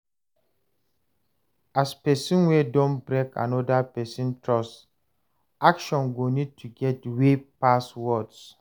As person wey don break anoda person trust, action go need to get weight pass word